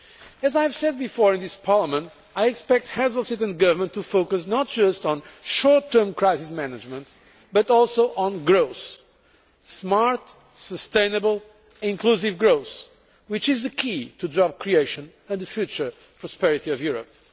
As I have said before in this Parliament, I expect Heads of State and Government to focus not just on short term crisis management, but also on growth smart, sustainable, inclusive growth, which is the key to job creation and the future prosperity of Europe.